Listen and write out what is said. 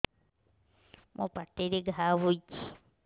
ମୋର ପାଟିରେ ଘା ହେଇଚି